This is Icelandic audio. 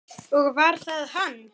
Og var það hann?